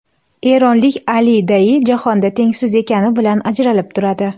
Eronlik Ali Dayi jahonda tengsiz ekani bilan ajralib turadi.